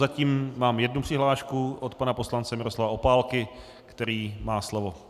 Yatím mám jednu přihlášku od pana poslance Miroslava Opálky, který má slovo.